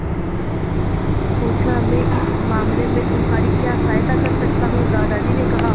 पूछा मैं इस मामले में तुम्हारी क्या सहायता कर सकता हूँ दादाजी ने कहा